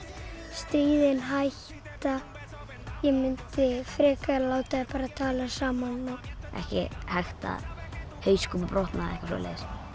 stríðin hætta ég mundi frekar láta þau tala saman ekki hægt að hauskúpa brotnað eða eitthvað svoleiðis